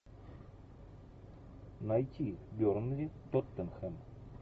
найти бернли тоттенхэм